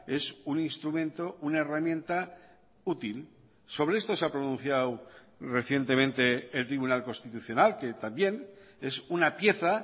es un instrumento o una herramienta útil sobre esto se ha pronunciado recientemente el tribunal constitucional que también es una pieza